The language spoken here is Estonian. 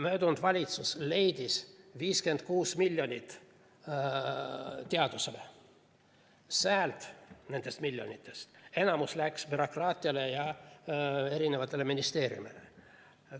Eelmine valitsus leidis 56 miljonit teadusele, nendest miljonitest enamik läks bürokraatiale ja erinevatele ministeeriumidele.